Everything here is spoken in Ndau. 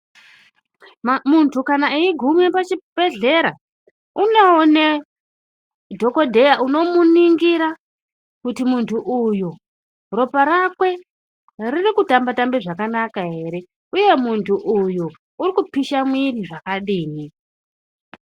Muntu kana eiguma pachibhedhlera unoone dhokodheya unomuningira kuti muntu uyu ropa rakwe riri kutamba tamba zvakanaka ere uye muntu uyu urikupisha mwiri zvakadii.